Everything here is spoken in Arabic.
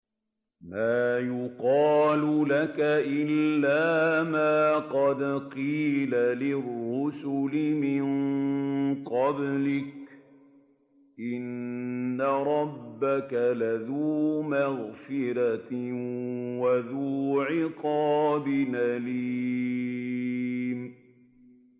مَّا يُقَالُ لَكَ إِلَّا مَا قَدْ قِيلَ لِلرُّسُلِ مِن قَبْلِكَ ۚ إِنَّ رَبَّكَ لَذُو مَغْفِرَةٍ وَذُو عِقَابٍ أَلِيمٍ